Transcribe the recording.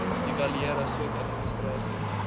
evaluering asook administrasie